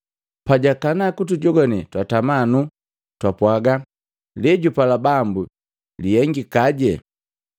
Pajakana kutujogwane twatama nuu, twapwaga, “Leejupala Bambu lihengikaje!”